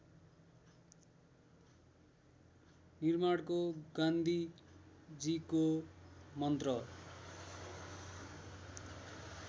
निर्माणको गान्धीजीको मन्त्र